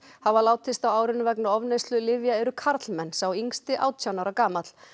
hafa látist á árinu vegna ofneyslu lyfja eru karlmenn sá yngsti átján ára gamall